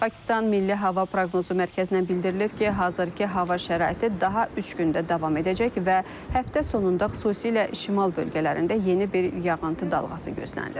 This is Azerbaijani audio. Pakistan Milli Hava Proqnozu Mərkəzindən bildirilib ki, hazırki hava şəraiti daha üç gün də davam edəcək və həftə sonunda xüsusilə şimal bölgələrində yeni bir yağıntı dalğası gözlənilir.